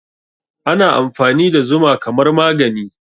Ana amfani da zuma kamar magani